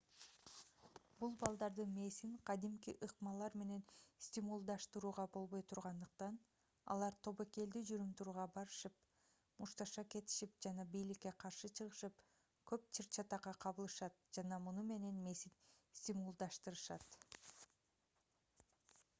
бул балдардын мээсин кадимки ыкмалар менен стимулдаштырууга болбой тургандыктан алар тобокелдүү жүрүм-турумдарга барышып мушташа кетишип жана бийликке каршы чыгышып көп чыр-чатакка кабылышат жана муну менен мээсин стимулдаштырышат